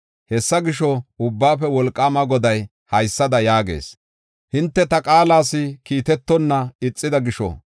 “Hessa gisho, Ubbaafe Wolqaama Goday haysada yaagees: hinte ta qaalas kiitetonna ixida gisho,